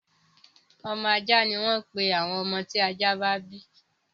Ọmọ ajá ni wọ́n ń pè àwọn ọmọ tí ajá bá bí.